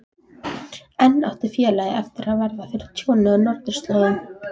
Enn átti félagið eftir að verða fyrir tjóni á norðurslóðum.